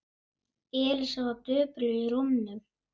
Elísa var döpur í rómnum.